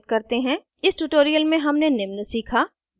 इस tutorial में हमने निम्न सीखा: